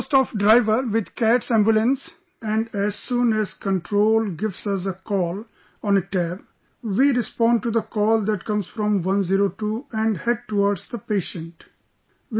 I am on the post of driver with CATS Ambulance and as soon as Control gives us a call on a tab... We respond to the call that comes from 102 and head towards the patient